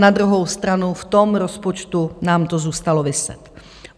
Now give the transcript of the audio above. Na druhou stranu v tom rozpočtu nám to zůstalo viset.